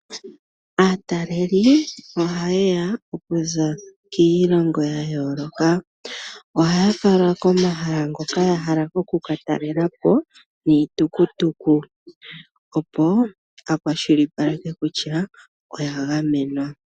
Aataleli ohaye ya okuza kiilongo ya yooloka. Ohaya falwa komahala ngoka ya hala oku ka talela po niitukutuku, opo ku kwashilipalekwe kutya oya gamenwa.